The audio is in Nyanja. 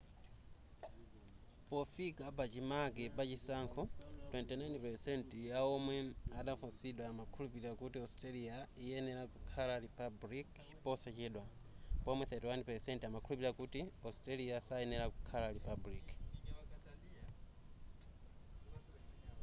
pofika pachimake pachisankho 29% ya omwe adafunsidwa amakhulupirira kuti australia iyenera kukhala republic posachedwa pomwe 31% amakhulupirira australia sayenera kukhala republic